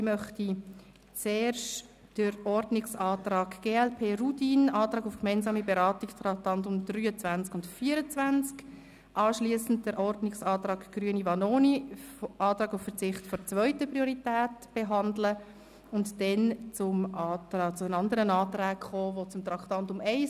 Ich möchte zuerst den Ordnungsantrag von Michel Rudin, glp, auf gemeinsame Beratung der Traktanden 23 und 24 behandeln, anschliessend den Ordnungsantrag von Bruno Vanoni, Grüne, auf Verzicht auf die zweite Priorität und dann die anderen Anträge betreffend das Traktandum 1.